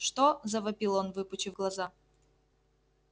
что завопил он выпучив глаза